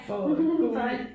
For at gå ud